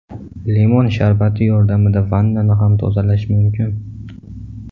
Limon sharbati yordamida vannani ham tozalash mumkin.